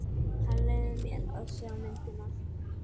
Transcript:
Hann leyfði mér að sjá myndina.